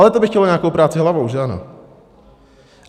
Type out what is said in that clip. Ale to by chtělo nějakou práci hlavou, že ano?